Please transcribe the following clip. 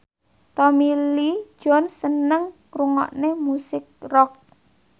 Tommy Lee Jones seneng ngrungokne musik rock